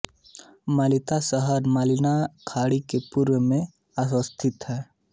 मनिला शहर मनिला खाड़ी के पूर्व मे अवस्थित हैं